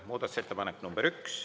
Muudatusettepanek nr 1.